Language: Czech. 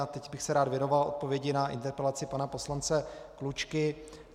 A teď bych se rád věnoval odpovědi na interpelaci pana poslance Klučky.